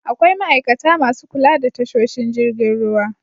Akwai ma'aikata masu kula da tasoshin jirgin ruwa.